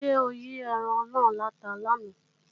Ṣé ó yí ẹran náà láta làná